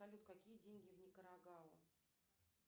салют какие деньги в никарагуа